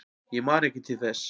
Ég man ekki til þess.